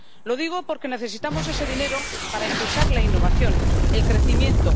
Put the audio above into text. Lo digo porque necesitamos ese dinero para impulsar la innovación, el crecimiento